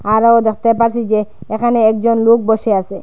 আরো দেখতে পারছি যে এখানে একজন লোক বসে আসে।